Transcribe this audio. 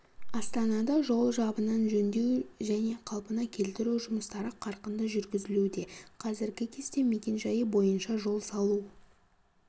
астанада жол жабынын жөндеу және қалпына келтіру жұмыстары қарқынды жүргізілуде қазіргі кезде мекен-жайы бойынша жол салу